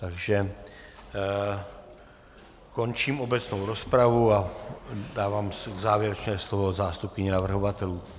Takže končím obecnou rozpravu a dávám závěrečné slovo zástupkyni navrhovatelů.